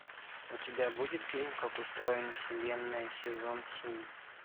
у тебя будет фильм как устроена вселенная сезон семь